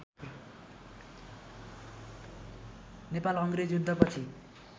नेपाल अङ्ग्रेज युद्धपछि